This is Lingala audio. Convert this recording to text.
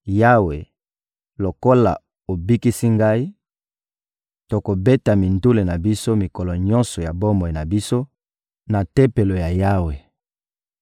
Yawe, lokola obikisi ngai, tokobeta mindule na biso mikolo nyonso ya bomoi na biso na Tempelo ya Yawe.